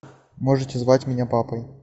можете звать меня папой